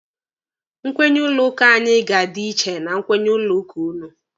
Nkwenye ụlọ ụka anyị ga-adị iche na nkwenye ụlọ ụka ụnụ.